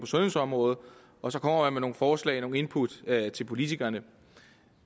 sundhedsområdet og så kommer man forslag nogle input til politikerne